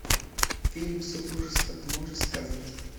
фильм супружество ты можешь сказать